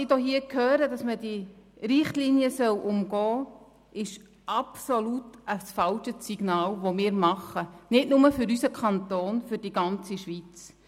Es ist ein absolut falsches Signal, wenn diese Richtlinien nun umgangen werden sollen – nicht nur für unseren Kanton, sondern für die ganze Schweiz.